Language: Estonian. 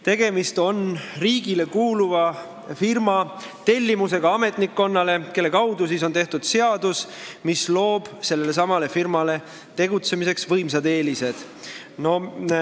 Tegemist on riigile kuuluva firma tellimusega ametnikkonnale, kelle kaudu on tehtud seadus, mis loob sellelesamale firmale tegutsemiseks võimsad eelised.